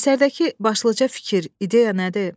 Əsərdəki başlıca fikir, ideya nədir?